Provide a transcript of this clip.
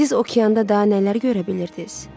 Siz okeanda daha nələr görə bilirdiz?